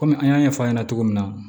Kɔmi an y'a ɲɛfɔ a ɲɛna cogo min na